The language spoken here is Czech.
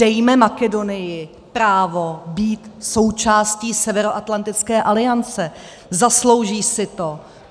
Dejme Makedonii právo být součástí Severoatlantické aliance, zaslouží si to.